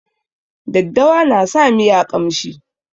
Daddawa na sa miya ƙamshi.